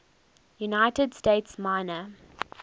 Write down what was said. united states minor